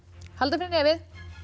halda fyrir nefið